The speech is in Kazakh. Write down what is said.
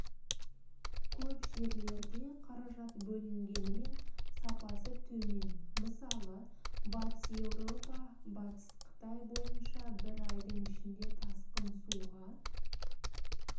көп жерлерде қаражат бөлінгенімен сапасы төмен мысалы батыс еуропа-батыс қытай бойынша бір айдың ішінде тасқын суға